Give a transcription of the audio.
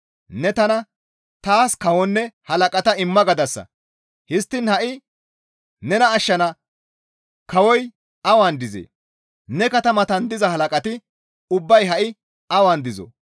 Ne tana, ‹Taas kawonne halaqata imma› gadasa; histtiin ha7i nena ashshana kawoy awan dizee? Ne katamatan diza halaqati ubbay ha7i awan dizoo?